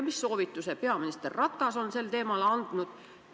Mis soovituse peaminister Ratas on teile sellel teemal vastamiseks andnud?